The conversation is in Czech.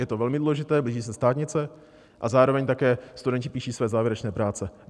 Je to velmi důležité, blíží se státnice a zároveň také studenti píší své závěrečné práce.